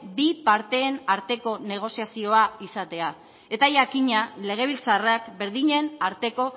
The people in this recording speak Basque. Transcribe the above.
bi parteen arteko negoziazioa izatea eta jakina legebiltzarrak berdinen arteko